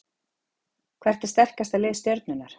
Hvert er sterkasta lið Stjörnunnar?